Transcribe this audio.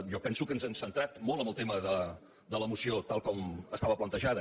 jo penso que ens hem centrat molt en el tema de la moció tal com estava plantejada